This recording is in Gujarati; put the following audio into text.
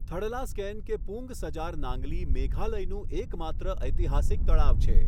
થડલાસ્કેન કે પુંગ સજાર નાંગલી મેઘાલયનું એકમાત્ર ઐતિહાસિક તળાવ છે.